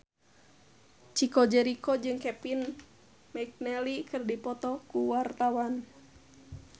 Chico Jericho jeung Kevin McNally keur dipoto ku wartawan